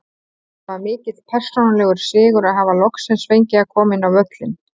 Það var mikill persónulegur sigur að hafa loksins fengið að koma inn á völlinn.